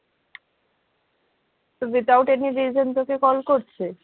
তো without any reason তোকে call করছে?